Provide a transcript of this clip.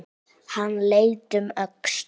Hann leit um öxl.